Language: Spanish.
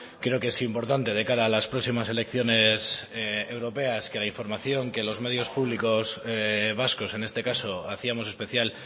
creo que es importante de cara a las próximas elecciones europeas que la información que los medios públicos vascos en este caso hacíamos especial